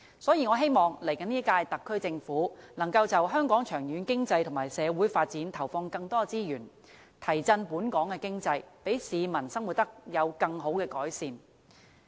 所以，我希望下一屆特區政府能夠就香港長遠經濟及社會發展，投放更多資源，提振本港的經濟，讓市民生活得到更好的改善。